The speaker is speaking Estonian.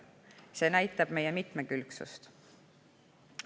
See näitab meie mitmekülgsust.